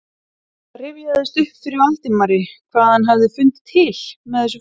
Það rifjaðist upp fyrir Valdimari hvað hann hafði fundið til með þessu fólki.